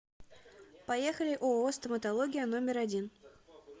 поехали ооо стоматология номер один